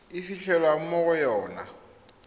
e fitlhelwang mo go yona